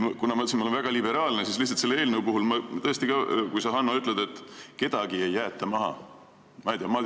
Kuna ma olen väga liberaalne, siis selle eelnõu puhul ma tõesti tahan viidata, et kuigi sa, Hanno, ütled, et kedagi ei jäeta maha, siis jäetakse küll.